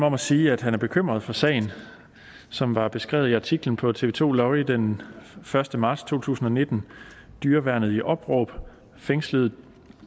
om at sige at han er bekymret for sagen som var beskrevet i artiklen på tv to lorry den første marts to tusind og nitten dyreværnet i opråb fængsledes